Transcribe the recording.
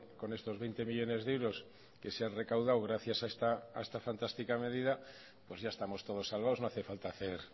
con estos veinte millónes de euros que se han recaudado gracias a esta fantástica medida pues ya estamos todos salvados no hace falta hacer